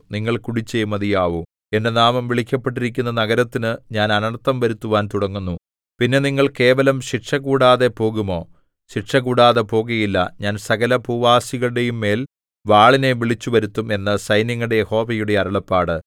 നിങ്ങൾ കുടിച്ചേ മതിയാവൂ എന്റെ നാമം വിളിക്കപ്പെട്ടിരിക്കുന്ന നഗരത്തിനു ഞാൻ അനർത്ഥം വരുത്തുവാൻ തുടങ്ങുന്നു പിന്നെ നിങ്ങൾ കേവലം ശിക്ഷകൂടാതെ പോകുമോ ശിക്ഷകൂടാതെ പോകയില്ല ഞാൻ സകല ഭൂവാസികളുടെയുംമേൽ വാളിനെ വിളിച്ചുവരുത്തും എന്ന് സൈന്യങ്ങളുടെ യഹോവയുടെ അരുളപ്പാട്